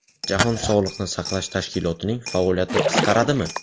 Jahon sog‘liqni saqlash tashkilotining faoliyati qisqaradimi?